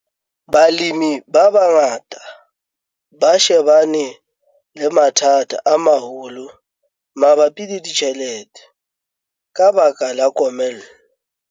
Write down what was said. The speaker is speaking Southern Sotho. Balemi ba bangata ba shebane le mathata a maholo mabapi le ditjhelete ka baka la komello.